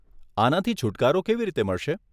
આનાથી છુટકારો કેવી રીતે મળશે?